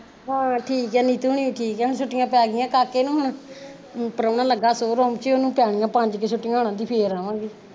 ਹਾਂ ਠੀਕ ਐ ਠੀਕ ਨੀਤੂ ਹੁਣੀ ਵੀ ਠੀਕਐ ਹੁਣ ਛੁੱਟੀਆ ਪੈ ਗਈਆ ਕਾਕੇ ਨੂੰ ਹੁਣ ਪਰਾਉਣਾ ਲਗਾ show room ਚ ਉਹਨੂੰ ਪੈਨੀਆ ਪੰਜ ਕੁ ਛੁੱਟੀਆ ਕਹਿੰਦੀ ਫੇਰ ਆਵਾਂਗੇ